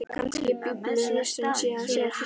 Kannski biblíulesturinn sé að segja til sín.